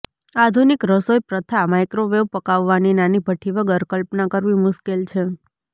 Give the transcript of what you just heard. આધુનિક રસોઈપ્રથા માઇક્રોવેવ પકાવવાની નાની ભઠ્ઠી વગર કલ્પના કરવી મુશ્કેલ છે